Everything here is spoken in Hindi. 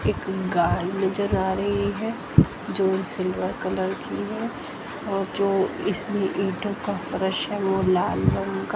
एक गाय नजर आ रही है जो सिल्वर कलर की है और जो इसमें इटो का फरश है वो लाल रंग का--